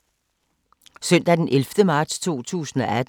Søndag d. 11. marts 2018